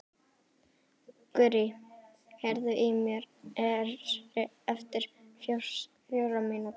Gurrí, heyrðu í mér eftir fjórar mínútur.